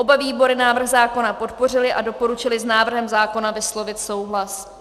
Oba výbory návrh zákona podpořily a doporučily s návrhem zákona vyslovit souhlas.